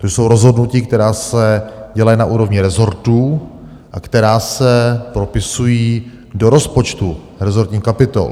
To jsou rozhodnutí, která se dělají na úrovni resortů a která se propisují do rozpočtu, resortních kapitol.